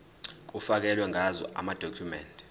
kufakelwe ngazo amadokhumende